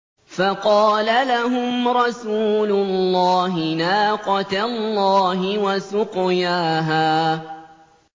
فَقَالَ لَهُمْ رَسُولُ اللَّهِ نَاقَةَ اللَّهِ وَسُقْيَاهَا